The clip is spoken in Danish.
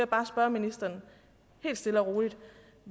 bare spørge ministeren helt stille og roligt